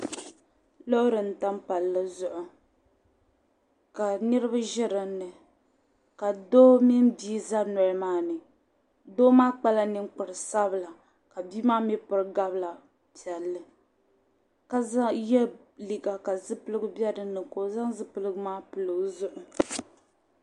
Lɔɔri m tam palli zuɣu, ka niribi ʒi dini ka doo mini bii ʒɛ dun doli maani, doo maa kpala nin kpari sabila, kabii maa mi piri gabira piɛli ka ye liiga ka zipiligu be dini ka ɔzaŋ zipiligu maa pili ɔzuɣu ,